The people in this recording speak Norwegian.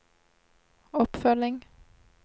oppfølging